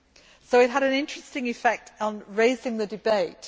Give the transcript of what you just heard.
So it had an interesting effect on raising the debate.